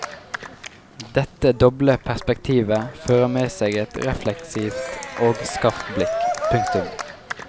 Dette doble perspektivet fører med seg et refleksivt og skarpt blikk. punktum